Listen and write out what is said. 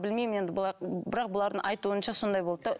білмеймін енді бұлар бірақ бұлардың айтуынша сондай болды да